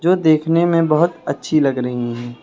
और देखने में बहुत अच्छी लग रही है।